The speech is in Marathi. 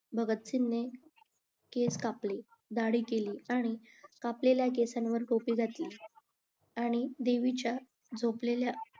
भगत सिंगने केस कापले दाढी केली आणि कापलेल्या केसांवर टोपी घातली आणि देवीच्या झोपलेल्या